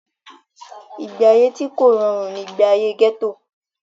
ìgbé ayé tí kò rọrùn ni ìgbé ayé gẹ́tò